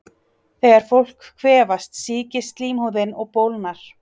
Þegar fólk kvefast sýkist slímhúðin og bólgnar.